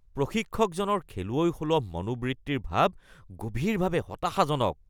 প্ৰশিক্ষকজনৰ খেলুৱৈসুলভ মনোবৃত্তিৰ ভাৱ গভীৰভাৱে হতাশাজনক